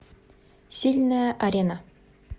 сильная арена